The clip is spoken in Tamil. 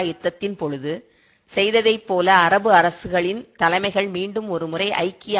யுத்தத்தின் பொழுது செய்ததைப்போல அரபு அரசுகளின் தலைமைகள் மீண்டும் ஒருமுறை ஐக்கிய